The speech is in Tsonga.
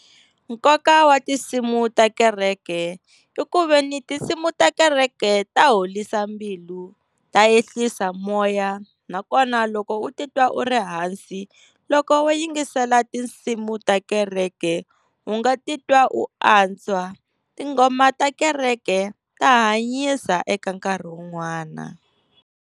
Nkoka wa tinsimu ta kereke i ku veni tinsimu ta kereke ta horisa mbilu, ta ehlisa moya nakona loko u titwa u ri hansi loko wo yingisela tinsimu ta kereke u nga titwa u antswa. Tinghoma ta kereke ta hanyisa eka nkarhi wun'wana.